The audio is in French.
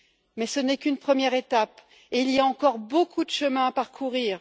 Mais ce n'est qu'une première étape et il y a encore beaucoup de chemin à parcourir.